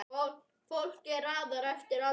Fólki er raðað eftir aldri